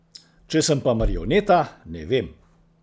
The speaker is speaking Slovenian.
Če sem pa marioneta, ne vem.